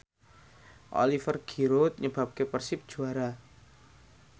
Oliver Giroud nyebabke Persib juara